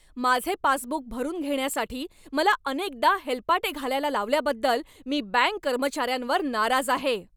माझे पासबुक भरून घेण्यासाठी मला अनेकदा हेलपाटे घालायला लावल्याबद्दल मी बँक कर्मचाऱ्यांवर नाराज आहे.